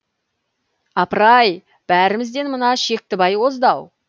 апыр ай бәрімізден мына шектібай озды ау